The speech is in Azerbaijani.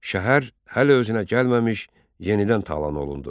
Şəhər hələ özünə gəlməmiş, yenidən talan olundu.